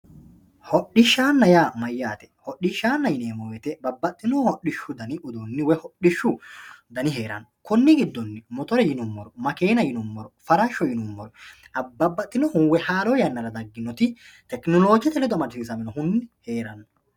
Hodhishshanna yaa mayate, hodhishshanna yineemmo woyte babbaxewo hodhishshu danni uduuni hodhishshu heerano konni giddonni motore yineemmori makenna yineemmoro, farasho yinuummoro babbaxinohu haaro yannara dagginoti tekenolojete ledo amadamisiisinohu heerano.